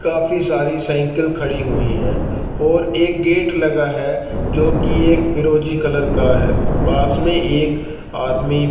काफी सारी साइकिल खड़ी हुई है और एक गेट लगा है जो की एक फिरोजी कलर का है पास में एक आदमी--